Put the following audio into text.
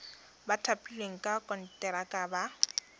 ba thapilweng ka konteraka ba